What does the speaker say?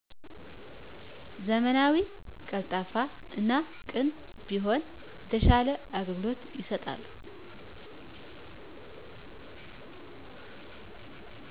ዘመናዊ, ቀልጣፋ እና ቅን ቢሆኑ የተሻለ አገልግሎት ይሠጣሉ።